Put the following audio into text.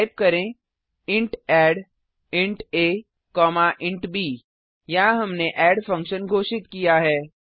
type करें int add int a int b यहाँ हमने एड फंक्शन घोषित किया है